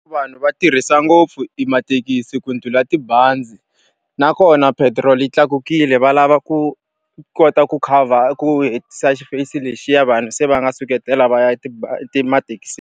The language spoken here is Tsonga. Vanhu va tirhisa ngopfu mathekisi ku ndlhula tibazi. Nakona petiroli yi tlakukile va lava ku kota ku ku hetisa xipeyisi lexiya vanhu se va nga suketela va ya mathekisini.